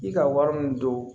I ka wari min don